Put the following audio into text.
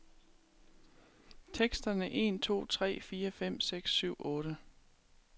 Tester en to tre fire fem seks syv otte.